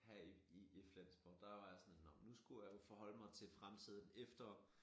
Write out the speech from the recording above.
Her i i Flensborg der var jeg sådan nå men skulle jeg jo forholde mig til fremtiden efter